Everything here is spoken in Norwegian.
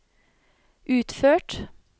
utført